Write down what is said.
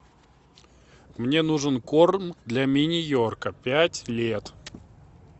мне нужен корм для мини йорка пять лет